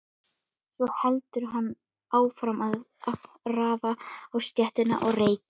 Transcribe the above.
Svo heldur hann áfram að ráfa um stéttina og reykja.